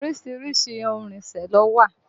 Orísìírísìí ohun ìrìnsẹ̀ ló wà